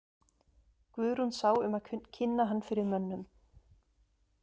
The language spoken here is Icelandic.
Guðrún sá um að kynna hann fyrir mönnum.